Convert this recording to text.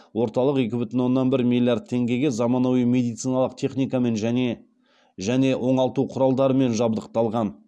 орталық екі бүтін оннан бір миллиард теңгеге заманауи медициналық техникамен және және оңалту құралдарымен жабдықталған